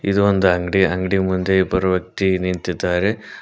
ಇದು ಒಂದ ಅಂಗ್ಡಿ ಅಂಗ್ಡಿ ಮುಂದೆ ಇಬ್ಬರು ವ್ಯಕ್ತಿ ನಿಂತಿದ್ದಾರೆ.